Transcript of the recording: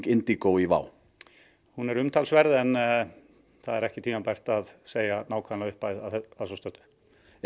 Indigo í WOW hún er umtalsverð en það er ekki tímabært að segja nákvæma upphæð að svo stöddu er